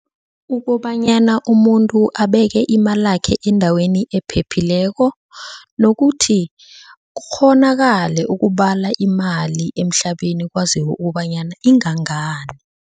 Ukobanyana umuntu abeke imalakhe endaweni ephephileko, nokuthi kukghonakale ukubala imali emhlabeni kwaziwe ukobanyana ingangani.